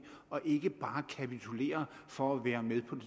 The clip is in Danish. og ikke bare kapitulerer for at være med på